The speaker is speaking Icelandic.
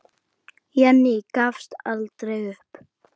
Jenný gafst aldrei upp.